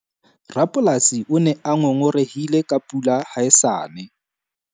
Rapolasi o ne a ngongorehile ka pula ha e sa ne.